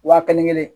Wa kelen kelen